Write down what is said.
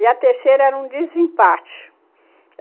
E a terceira era um desempate.